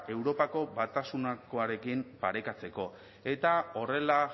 europako batasunakoarekin parekatzeko eta horrela